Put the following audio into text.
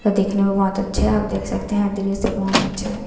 यह देखने में बहोत अच्छे है आप देख सकते हैं दृश्य बहोत अच्छे हैं।